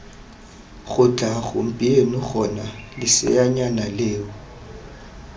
tloga gompieno gona leseanyana leo